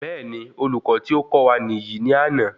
Béèni olùkọ tí o kọ́ wa niyi ni àná